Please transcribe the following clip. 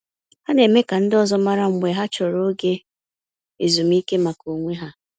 Ha na-eme ka ndị ọzọ mara mgbe ha chọrọ oge ezumiike maka onwe ha.